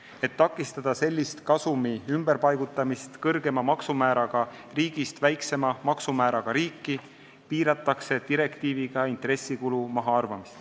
Et takistada kasumi ümberpaigutamist kõrgema maksumääraga riigist väiksema maksumääraga riiki, piiratakse direktiiviga intressikulu mahaarvamist.